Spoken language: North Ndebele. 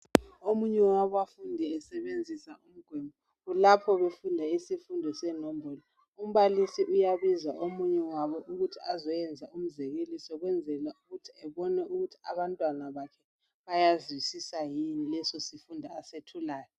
Omunye wabafundi esebenzisa umgwembe lapho befunda isifundo senombolo . Umbalisi uyabiza omunye wabo ukuthi azoyenza umzekeliso kwenzela ukuthi abone ukuthi abantwana bakhe bayazwisisa yini leso sifundo asethulayo.